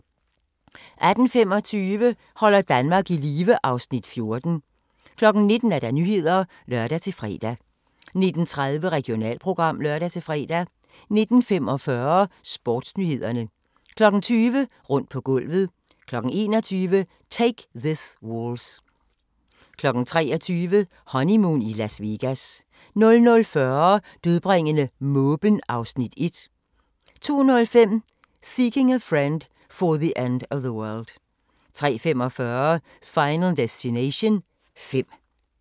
18:25: Holder Danmark i live (Afs. 14) 19:00: Nyhederne (lør-fre) 19:30: Regionalprogram (lør-fre) 19:45: Sportsnyhederne 20:00: Rundt på gulvet 21:00: Take This Waltz 23:00: Honeymoon i Las Vegas 00:40: Dødbringende måben 1 02:05: Seeking a Friend for the End of the World 03:45: Final Destination 5